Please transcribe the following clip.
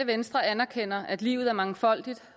venstre anerkender at livet er mangfoldigt